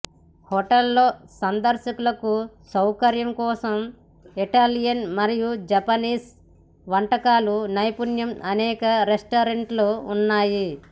hotel లో సందర్శకులకు సౌకర్యం కోసం ఇటాలియన్ మరియు జపనీస్ వంటకాలు నైపుణ్యం అనేక రెస్టారెంట్లు ఉన్నాయి